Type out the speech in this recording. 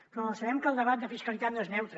però sabem que el debat de fiscalitat no és neutre